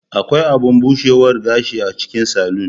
Akwai abun bushewar gashi a cikin salon.